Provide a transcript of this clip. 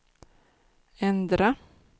ändra